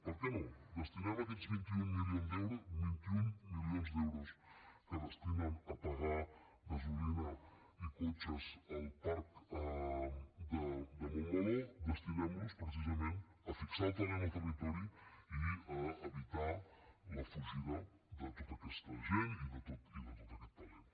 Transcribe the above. per què no destinem aquests vint un milions d’euros que destinen a pagar gasolina i cotxes al parc de montmeló destinem los precisament a fixar el talent en el territori i a evitar la fugida de tota aquesta gent i de tot aquest talent